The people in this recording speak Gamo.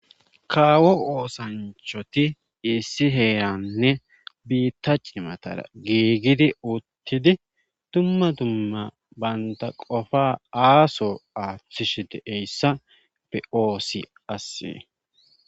kaawo oosanchoti issi heeranne biitta cimatara giigidi uuttidi dumma dumma baynda qofa aaso aaththish de'ayssa be'oosi assee